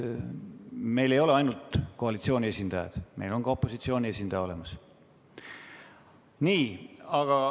Meil ei ole ainult koalitsiooni esindajad, meil on ka opositsiooni esindaja olemas.